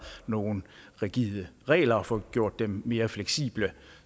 nogle rigide regler og få gjort dem mere fleksible